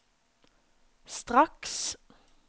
straks